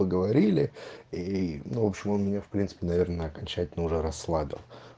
поговорили и ну в общем он меня в принципе наверное окончательно уже расслабил